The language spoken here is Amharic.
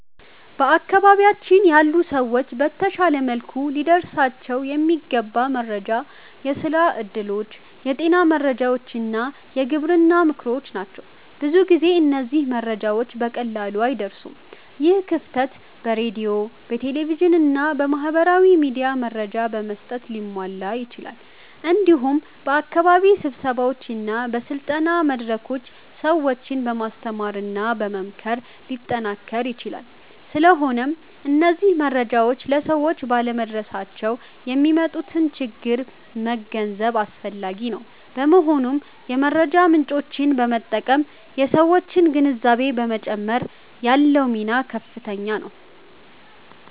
በአካባቢያችን ያሉ ሰዎች በተሻለ መልኩ ሊደርሳቸው የሚገባ መረጃ የስራ እድሎች፣ የጤና መረጃዎች እና የግብርና ምክሮች ናቸው። ብዙ ጊዜ እነዚህ መረጃዎች በቀላሉ አይደርሱም። ይህ ክፍተት በሬዲዮ፣ በቴሌቪዥን እና በማህበራዊ ሚዲያ መረጃ በመስጠት ሊሟላ ይችላል። እንዲሁም በአካባቢ ስብሰባዎች እና በስልጠና መድረኮች ሰዎችን በማስተማርና በመምከር ሊጠናከር ይችላል። ስለሆነም እነዚህ መረጃዎች ለሰዎች ባለመድረሳቸው የሚያመጡትን ችግር መገንዘብ አስፈላጊ ነው። በመሆኑም የመረጃ ምጮችን በመጠቀም የሠዎችን ግንዛቤ በመጨመር ያለው ሚና ከፍተኛ ነው።